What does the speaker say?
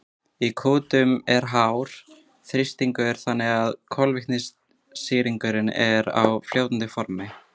í kútunum er hár þrýstingur þannig að koltvísýringurinn er á fljótandi formi